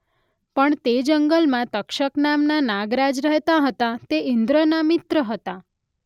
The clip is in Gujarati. પણ તે જંગલમાં તક્ષક નામના નાગરાજ રહેતા હતાં તે ઈંદ્રના મિત્ર હતાં.